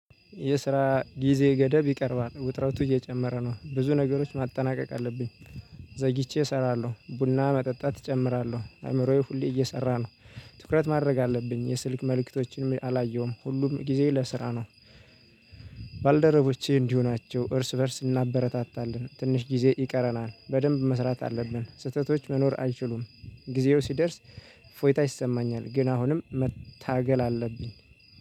የስራ ጊዜ ገደብ ይቀርባል ውጥረቱ እየጨመረ ነው ብዙ ነገሮች ማጠናቀቅ አለብኝ። ዘግይቼ እሰራለሁ ቡና መጠጣት እጨምራለሁ አእምሮዬ ሁሌ እየሰራ ነው። ትኩረት ማድረግ አለብኝ የስልክ መልእክቶችንም አላየሁም ሁሉም ጊዜ ለስራ ነው። ባልደረቦቼ እንዲሁ ናቸው እርስ በእርስ እናበረታታለን ትንሽ ጊዜ ይቀረናል በደንብ መስራት አለብን ስህተቶች መኖር አይችሉም። ጊዜው ሲደርስ እፎይታ ይሰማኛል። ግን አሁንም መታገል አለብኝ